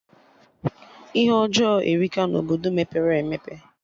Ihe ọjọọ erika na Obodo mepere emepe